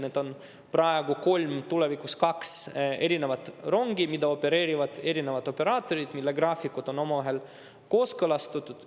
Need on praegu kolm, tulevikus kaks erinevat rongi, mida opereerivad erinevad operaatorid ja mille graafikud on omavahel kooskõlastatud.